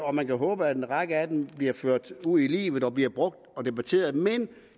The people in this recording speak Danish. og man kan håbe at en række af dem bliver ført ud i livet og bliver brugt og debatteret men